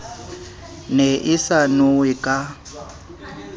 ne e sa nowe ka